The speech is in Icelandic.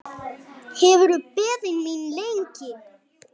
Hefur beðið mín lengi.